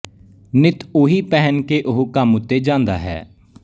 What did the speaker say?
ਨਿੱਤ ਉਹੀ ਪਹਿਨ ਕੇ ਉਹ ਕੰਮ ਉੱਤੇ ਜਾਂਦਾ ਹੈ